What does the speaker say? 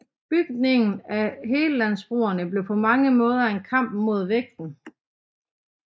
Bygningen af Hellandbroene blev på mange måder en kamp mod vægten